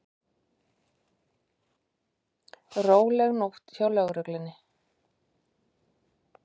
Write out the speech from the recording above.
Róleg nótt hjá lögreglunni